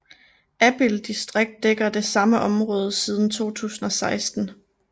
Abild distrikt dækker det samme område siden 2016